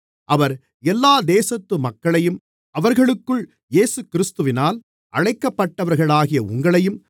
அவர் எல்லா தேசத்து மக்களையும் அவர்களுக்குள் இயேசுகிறிஸ்துவினால் அழைக்கப்பட்டவர்களாகிய உங்களையும்